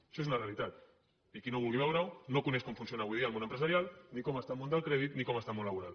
això és una realitat i qui no vulgui veure ho no coneix com funciona avui dia el món empresarial ni com està el món del crèdit ni com està el món laboral